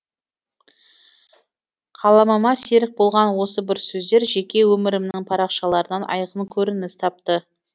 қаламыма серік болған осы бір сөздер жеке өмірімнің парақшаларынан айқын көрініс тапты